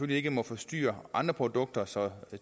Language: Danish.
ikke må forstyrre andre produkter så